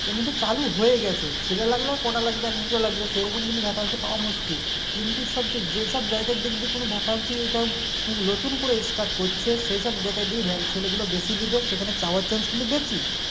এ কিন্তু চালু হয়ে গেছে ছেলে লাগলে আর কটা লাগবে এক দুটো লাগবে সেরকম কিন্তু Vacancy পাওয়া মুশকিল কিন্তু সব যে যে সব জায়গায় দেখবি কোনো vacancy টা নতুন করে start করছে সেই সব জায়গায় দেখবি va ছেলে গুলো বেশি লিবে সেখানে পাওয়ার chance কিন্তু বেশি